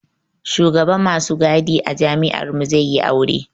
Shugaban masu gadi a jami'ar mu zai yi aure